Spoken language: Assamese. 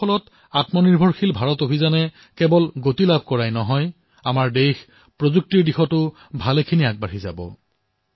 ইয়াৰ দ্বাৰা আত্মনিৰ্ভৰ ভাৰত অভিযানে কেৱল এক গতি লাভ কৰাই নহয় বৰঞ্চ দেশ প্ৰযুক্তিৰ দিশতো আগুৱাব